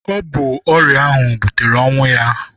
Ọ bụ ọrịa ahụ butere ọnwụ ya.